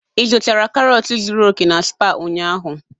Ị zụtara karọt zuru oke na Spar ụnyaahụ?